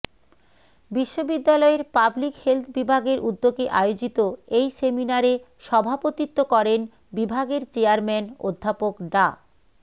বিশ্ববিদ্যালয়ের public health বিভাগের উদ্যোগে আয়োজিত এই সেমিনারে সভাপতিত্ব করেন বিভাগের চেয়ারম্যান অধ্যাপক ডা